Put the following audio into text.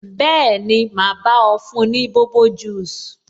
Bẹẹni, ma bá ọ fún ní bobo juice